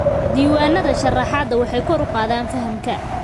Diiwaanada sharraxaadda waxay kor u qaadaan fahamka.